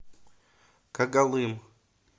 когалым